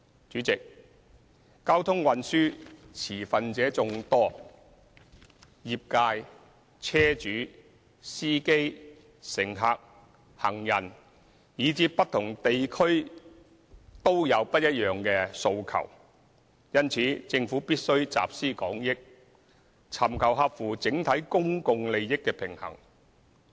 主席，交通運輸持份者眾多，業界，車主、司機、乘客、行人，以至不同地區都有不一樣的訴求，因此政府必須集思廣益，在合乎整體公共利益的前提下尋求平衡。